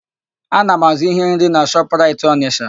Ana m azụ íhé nri na Shọpraịt Ọnịsha.